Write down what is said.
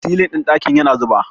silin ɗin dakin yana zuba